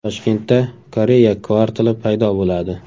Toshkentda Koreya kvartali paydo bo‘ladi.